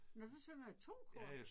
Nåh du synger i 2 kor?